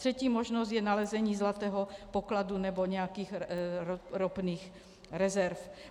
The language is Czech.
Třetí možnost je nalezení zlatého pokladu nebo nějakých ropných rezerv.